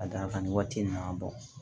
Ka d'a kan nin waati in nana bɔ